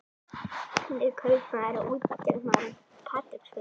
Hann er kaupmaður og útgerðarmaður á Patreksfirði.